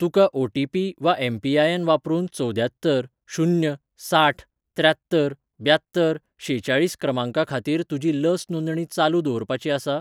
तुका ओटीपी वा एम.पी.आय.एन. वापरून चवद्यात्तर शून्य साठ त्र्यात्तर ब्यात्तर शेचाळीस क्रमांका खातीर तुजी लस नोंदणी चालू दवरपाची आसा?